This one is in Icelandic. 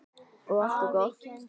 Og allt er gott.